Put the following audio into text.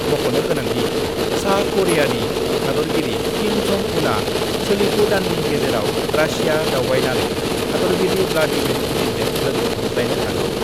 मख'नो गोनांदि, सा करियानि हादरगिरि किम जं उनआ सोलिफु दाननि गेजेराव रासिया दावबायनानै हादरगिरि ब्लादिमीर पुतिनजों लोगो हमज्लायनो हागौ।